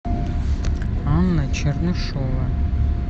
анна чернышова